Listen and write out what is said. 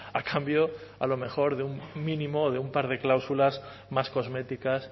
a cambio a lo mejor de un mínimo o de un par de cláusulas más cosméticas